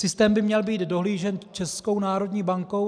Systém by měl být dohlížen Českou národní bankou.